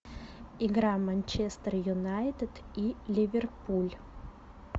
игра манчестер юнайтед и ливерпуль